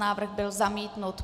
Návrh byl zamítnut.